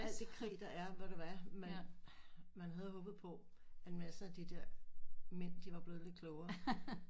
Alt det krig der er ved du hvad man man havde håbet på en masse af de der mænd de var blevet lidt klogere